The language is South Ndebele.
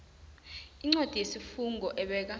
incwadi yesifungo ebeka